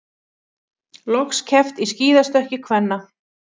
Loks keppt í skíðastökki kvenna